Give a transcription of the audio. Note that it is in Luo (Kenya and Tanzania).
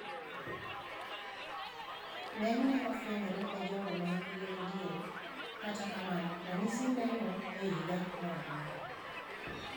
Ng'enyne ofuenyore e jogo ma hikgi ni diere kata kamano ranyisi neno e higa moramora